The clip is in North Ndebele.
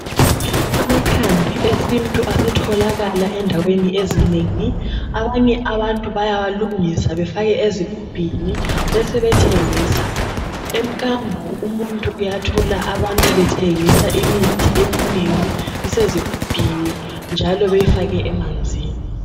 Amakhambi esintu asetholakala endaweni ezinengi, abanye abantu bayawalungisa bafake ezigubhini besebethengisa. Emkambo umuntu uyathola abantu bethengisa imithi eminengi isezigubhini njalo beyifake emanzini.